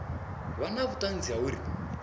vha na vhuṱanzi ha uri